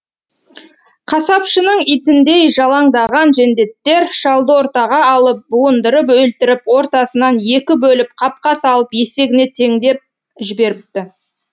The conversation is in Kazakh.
қасапшының итіндей жалаңдаған жендеттер шалды ортаға алып буындырып өлтіріп ортасынан екі бөліп қапқа салып есегіне теңдеп жіберіпті